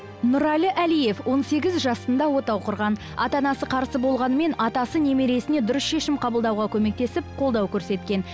нұрәлі алиев он сегіз жасында отау құрған ата анасы қарсы болғанымен атасы немересіне дұрыс шешім қабылдауға көмектесіп қолдау көрсеткен